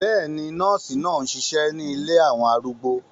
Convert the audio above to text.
Bẹ́ẹ̀ni, nọ́ọ̀sì náà ń ṣiṣẹ́ nílé àwọn arúgbó